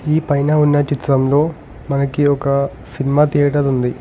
ఈ పైన ఉన్న చిత్రంలో మనకి ఒక సినిమా థియేటర్ ఉంది.